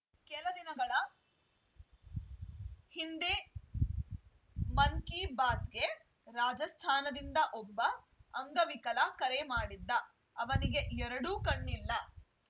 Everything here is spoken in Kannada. ಕೆಲ ದಿನಗಳ ಹಿಂದೆ ಮನ್‌ ಕಿ ಬಾತ್‌ಗೆ ರಾಜಸ್ಥಾನದಿಂದ ಒಬ್ಬ ಅಂಗವಿಕಲ ಕರೆ ಮಾಡಿದ್ದ ಅವನಿಗೆ ಎರಡೂ ಕಣ್ಣಿಲ್ಲ